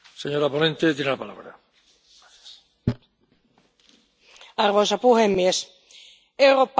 Arvoisa puhemies, eurooppalainen talous on äärimmäisen riippuvainen perinteisestä pankkirahoituksesta.